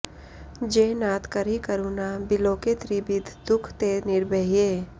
जे नाथ करि करुना बिलोके त्रिबिधि दुख ते निर्बहे